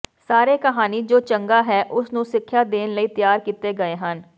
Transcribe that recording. ਸਾਰੇ ਕਹਾਣੀ ਜੋ ਚੰਗਾ ਹੈ ਉਸ ਨੂੰ ਸਿੱਖਿਆ ਦੇਣ ਲਈ ਤਿਆਰ ਕੀਤੇ ਗਏ ਹਨ